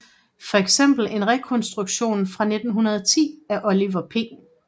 For eksempel en rekonstruktion fra 1910 af Oliver P